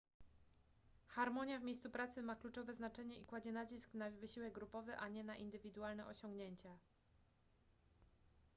harmonia w miejscu pracy ma kluczowe znaczenie i kładzie nacisk na wysiłek grupowy a nie na indywidualne osiągnięcia